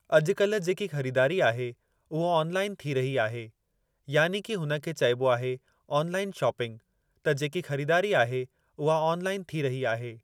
अॼुकल्ह जेकी ख़रीदारी आहे उहो ऑनलाइन थी रही आहे यानी कि हुन खे चइबो आहे ऑनलाइन शॉपिंग त जेकी ख़रीदारी आहे उहा ऑनलाइन थी रही आहे।